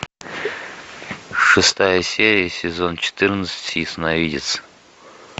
шестая серия сезон четырнадцать ясновидец